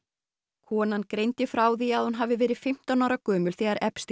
konan greindi frá því að hún hafi verið fimmtán ára gömul þegar